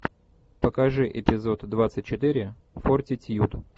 покажи эпизод двадцать четыре фортитьюд